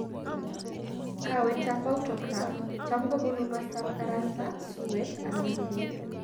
Kawet ap Autograft cham ko ponu mastap karasta, suwet , anan kelyek.